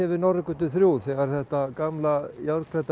við Norðurgötu þrjú þegar þetta gamla